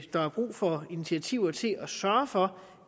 der er brug for initiativer til at sørge for